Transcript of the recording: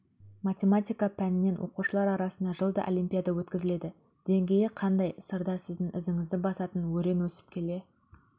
математика пәнінен оқушылар арасында жылда олимпиада өткізіледі деңгейі қандай сырда сіздің ізіңізді басатын өрен өсіп келе